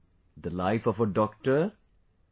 ' the life of a doctor...